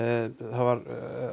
það var